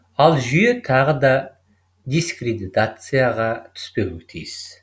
ал жүйе тағы да дискредитацияға түспеуі тиіс